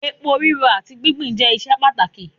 èpo riro ati gbingbin je iṣẹ pàtàkì